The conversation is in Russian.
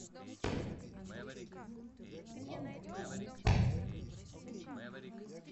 лапшина